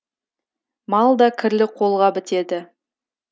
мал да кірлі қолға бітеді